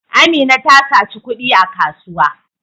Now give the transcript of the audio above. Amina ta saci kudi a kasuwa.